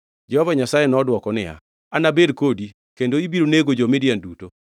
Jehova Nyasaye nodwoko niya, “Anabed kodi, kendo ibiro nego jo-Midian duto.”